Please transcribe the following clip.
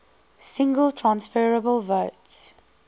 single transferable vote